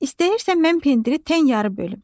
İstəyirsən mən pendiri tən yarı bölüm.